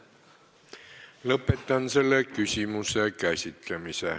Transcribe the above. Lõpetan selle küsimuse käsitlemise.